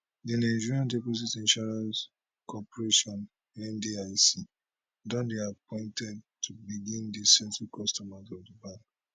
di nigeria deposit insurance corporation ndic don dey appointed to begin dey settle customers of di bank